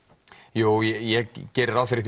jú ég geri ráð fyrir